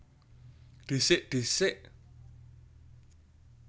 Dhisik disék